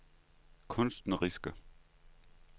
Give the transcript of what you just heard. kunstneriske